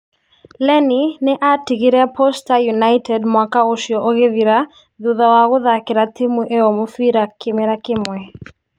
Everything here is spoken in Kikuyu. Lenny, nĩ atigire Posta United mwaka ũcio ũkithira thutha wa kũthakira timu ĩo mũbira kĩmera kĩmwe.